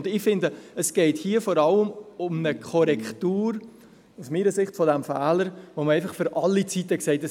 Es geht hier aus meiner Sicht vor allem um eine Korrektur dieses Fehlers, wo man einfach für alle Zeit gesagt hat: